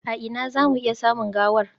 A ina za mu iya samun gawar?